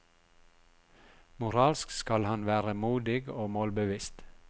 Moralsk skal han være modig og målbevisst.